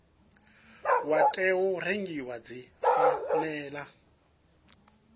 wa tou rengiwa dzi fanela